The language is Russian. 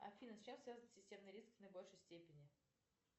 афина с чем связан системный риск в наибольшей степени